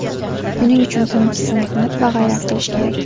Buning uchun tinimsiz mehnat va g‘ayrat qilish kerak.